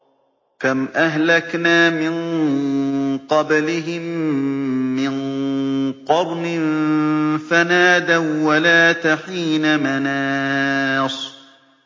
كَمْ أَهْلَكْنَا مِن قَبْلِهِم مِّن قَرْنٍ فَنَادَوا وَّلَاتَ حِينَ مَنَاصٍ